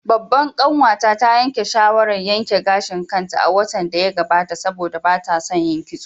Babbar kanwata ta yanke shawarar yanke gashin kanta a watan da ya gabata saboda ba ta son yin kitso